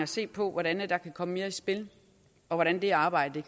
se på hvordan der kan komme mere i spil og hvordan det arbejde